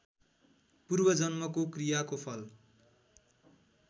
पूर्वजन्मको क्रियाको फल